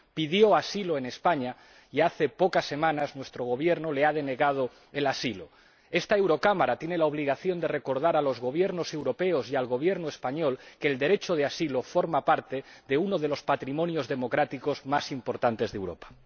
Pidió asilo en España y, hace pocas semanas, nuestro Gobierno le ha denegado el asilo. Esta Eurocámara tiene la obligación de recordar a los Gobiernos europeos y al Gobierno español que el derecho de asilo forma parte de uno de los patrimonios democráticos más importantes de Europa.